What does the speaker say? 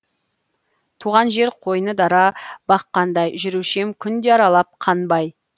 туған жер қойны дара бақ қандай жүруші ем күнде аралап қанбай